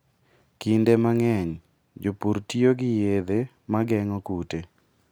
Kinde mang'eny, jopur tiyo gi yedhe ma geng'o kute.